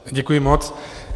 Děkuji moc.